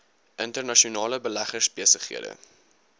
internasionale beleggers besighede